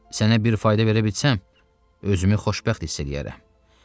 Sənə bir fayda verə bilsəm, özümü xoşbəxt hiss eləyərəm.